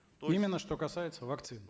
то есть именно что касается вакцин